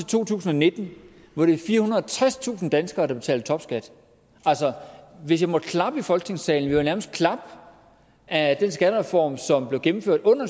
to tusind og nitten er firehundrede og tredstusind danskere der betaler topskat altså hvis jeg måtte klappe i folketingssalen ville jeg nærmest klappe af den skattereform som blev gennemført under